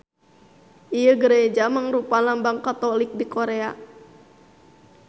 Ieu gareja mangrupa lambang Katolik di Korea.